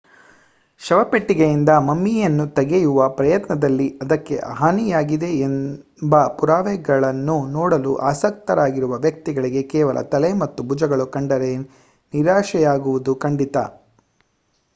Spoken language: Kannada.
ಶವಪೆಟ್ಟಿಗೆಯಿಂದ ಮಮ್ಮಿಯನ್ನು ತೆಗೆಯುವ ಪ್ರಯತ್ನದಲ್ಲಿ ಅದಕ್ಕೆ ಹಾನಿಯಾಗಿದೆ ಎಂಬ ಪುರಾವೆಗಳನ್ನು ನೋಡಲು ಆಸಕ್ತರಾಗಿರುವ ವ್ಯಕ್ತಿಗಳಿಗೆ ಕೇವಲ ತಲೆ ಮತ್ತು ಭುಜಗಳು ಕಂಡರೆ ನಿರಾಶೆಯಾಗುವುದು ಖಂಡಿತ